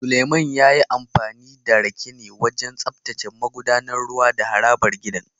Suleiman ya yi amfani da rake ne wajen tsaftace magudanar ruwa da harabar gidan